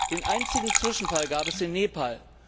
Den einzigen Zwischenfall gab es in Nepal.